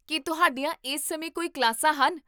ਕੀ ਤੁਹਾਡੀਆਂ ਇਸ ਸਮੇਂ ਕੋਈ ਕਲਾਸਾਂ ਹਨ?